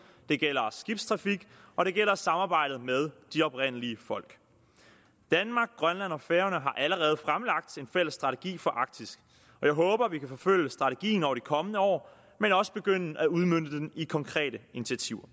det gælder skibstrafik og det gælder samarbejde med de oprindelige folk danmark grønland og færøerne har allerede fremlagt en fælles strategi for arktis og jeg håber at vi kan forfølge strategien over de kommende år men også begynde at udmønte den i konkrete initiativer